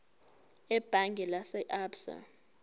ebhange lase absa